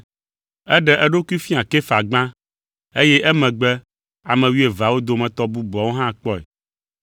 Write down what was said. Eɖe eɖokui fia Kefa gbã, eye emegbe ame wuieveawo dometɔ bubuawo hã kpɔe.